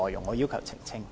我要求作出澄清。